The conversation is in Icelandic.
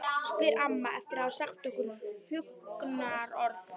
spyr amma eftir að hafa sagt nokkur huggunarorð.